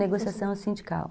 Negociação sindical.